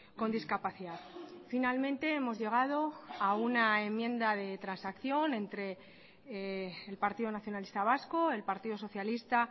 con discapacidad finalmente hemos llegado a una enmienda de transacción entre el partido nacionalista vasco el partido socialista